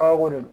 A ko de don